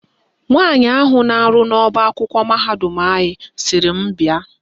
Nwaanyị ahụ na-arụ n'ọbaakwụkwọ mahadum anyị sịrị m bịa.